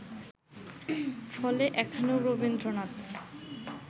ফলে এখানেও রবীন্দ্রনাথ